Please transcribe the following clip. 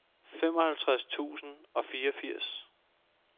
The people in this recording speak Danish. femoghalvtreds tusind og fireogfirs